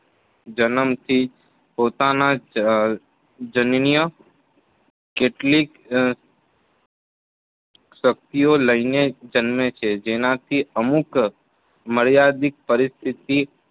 જન્મથી જ પોતાના જ જનનીય કેટલીક શક્તિઓ લઇને જન્મે છે જેનાથી અમુક મર્યાદિત પરિસ્થિતિ